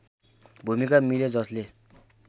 भूमिका मिल्यो जसले